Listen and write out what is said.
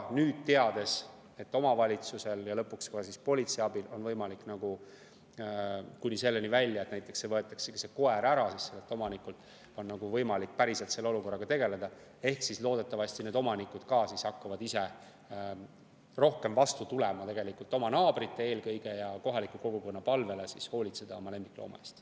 Kui on teada, et omavalitsuse ja lõpuks ka politsei abil on võimalik minna kuni selleni välja, et omanikult võetaksegi koer ära, et päriselt saabki selle olukorraga tegeleda, siis loodetavasti omanikud hakkavad rohkem vastu tulema eelkõige oma naabrite, aga ka kogu kohaliku kogukonna palvele hoolitseda oma lemmiklooma eest.